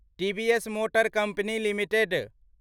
TVS motor company limited